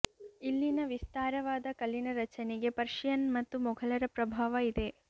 ಇಲ್ಲಿನ ವಿಸ್ತಾರವಾದ ಕಲ್ಲಿನ ರಚನೆಗೆ ಪರ್ಷಿಯನ್ ಮತ್ತು ಮೊಘಲರ ಪ್ರಭಾವ ಇದೆ